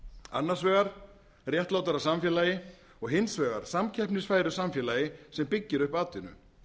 annars vegar réttlátara samfélagi og hins vegar samkeppnisfæru samfélagi sem byggir upp atvinnu